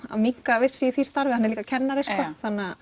að minnka við sig í því starfi hann er líka kennari sko